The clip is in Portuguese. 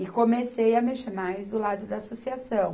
E comecei a mexer mais do lado da associação.